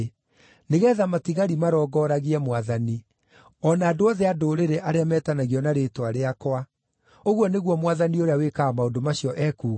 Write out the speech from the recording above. nĩgeetha matigari marongoragie Mwathani, o na andũ othe a Ndũrĩrĩ arĩa metanagio na rĩĩtwa rĩakwa, ũguo nĩguo Mwathani ũrĩa wĩkaga maũndũ macio ekuuga’